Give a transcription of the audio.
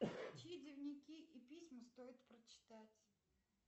чьи дневники и письма стоит прочитать